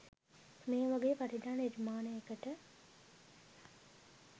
මේ වගේ වටිනා නිර්මාණයකට